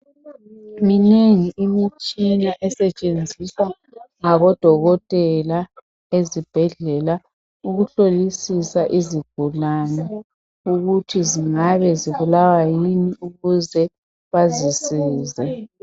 Minengi imitshina esetshenziswa ngabdokotela ezibhedlela ukuhlolisisa izigulane ukuthi zingabe zibulawa yini ukuze bazisize